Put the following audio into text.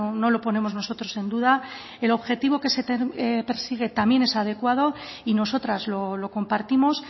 no lo ponemos nosotros en duda el objetivo que se persigue también es adecuado y nosotras lo compartimos